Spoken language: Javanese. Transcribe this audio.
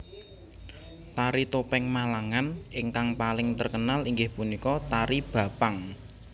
Tari topeng Malangan ingkang paling terkenal inggih punika tari Bapang